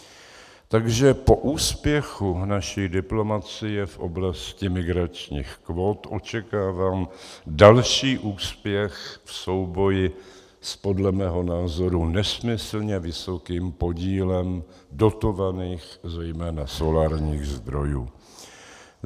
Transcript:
Takže po úspěchu naší diplomacie v oblasti migračních kvót očekávám další úspěch v souboji s podle mého názoru nesmyslně vysokým podílem dotovaných, zejména solárních zdrojů.